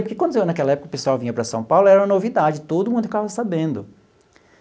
Porque quando naquela época o pessoal vinha para São Paulo era uma novidade, todo mundo ficava sabendo.